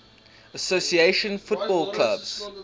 association football clubs